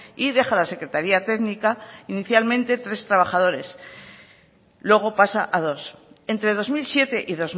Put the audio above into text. y deja la secretaría técnica inicialmente tres trabajadores luego pasa a dos entre dos mil siete y